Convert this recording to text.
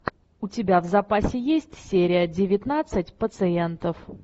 у тебя в запасе есть серия девятнадцать пациентов